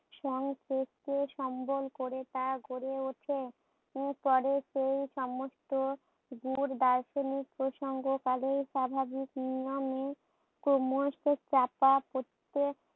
সংকটকে সম্বল করে তা গড়ে উঠে। উম পরে সেই সমস্ত গুরু দার্শনিক প্রসঙ্গকালে স্বাভাবিক নিয়মে ক্রমশ চাপা পরতে